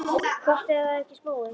Gott ef það var ekki spói.